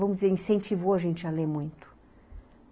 Vamos dizer, incentivou a gente a ler muito.